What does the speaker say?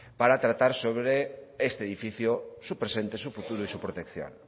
para tratar sobre este edificio su presente su futuro y su protección